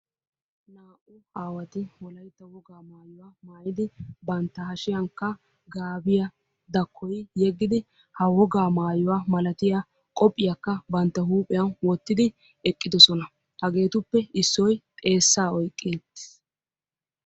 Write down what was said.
Naa'u aawatti wolaytta wogga maayuwaa mayiddi bantta hashshiyankka gaabbiya dakkoyi yeggiddi ha wogga maayuwaa malattiyaa qophphiyaakka bantta huphphiyan wottidi eqqidosonna, hageettuppe issoy xeessaa oyqqi uttiis.